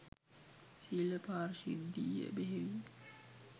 සීල පාරිශුද්ධිය බෙහෙවින්